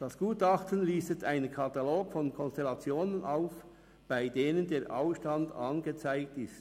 Das Gutachten listet einen Katalog von Konstellationen auf, bei denen der Ausstand angezeigt ist.